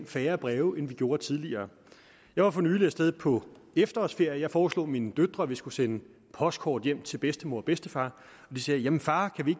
færre breve end vi gjorde tidligere jeg var for nylig af sted på efterårsferie og jeg foreslog mine døtre at vi skulle sende postkort hjem til bedstemor og bedstefar og de sagde jamen far kan vi